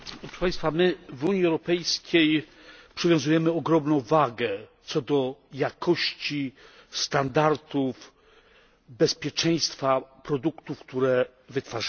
My w Unii Europejskiej przywiązujemy ogromną wagę do jakości, standardów, bezpieczeństwa produktów, które wytwarzamy.